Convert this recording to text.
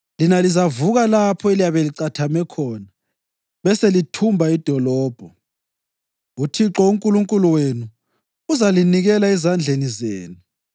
lina lizavuka lapho eliyabe licathame khona beselithumba idolobho. UThixo uNkulunkulu wenu uzalinikela ezandleni zenu.